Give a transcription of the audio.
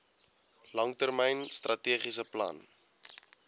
langtermyn strategiese plan